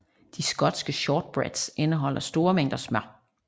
De skotske shortbreads indeholder store mængder smør